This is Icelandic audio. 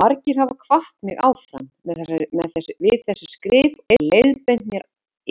Margir hafa hvatt mig áfram við þessi skrif og leiðbeint mér